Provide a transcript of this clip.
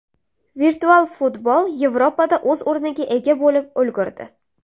Virtual futbol Yevropada o‘z o‘rniga ega bo‘lib ulgurdi.